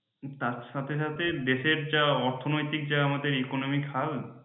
তার সাথে সাথে দেশের যা অর্থনৈতিক যা আমাদের economic হাল